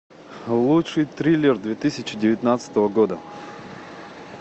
лучший триллер две тысячи девятнадцатого года